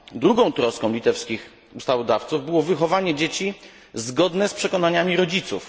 Drugą troską litewskich ustawodawców było wychowanie dzieci zgodne z przekonaniami rodziców.